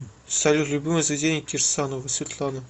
салют любимое заведение кирсановой светланы